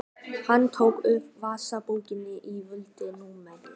Hann tók upp vasabókina og valdi númerið.